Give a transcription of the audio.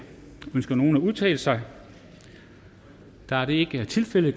ønsker nogen at udtale sig da det ikke er tilfældet